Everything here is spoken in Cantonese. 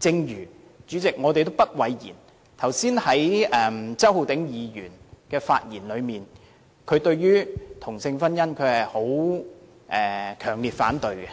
主席，我們也不諱言，正如剛才周浩鼎議員的發言，可見他對同性婚姻是強烈反對的，而